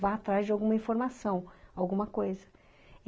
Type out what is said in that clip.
vá atrás de alguma informação, alguma coisa.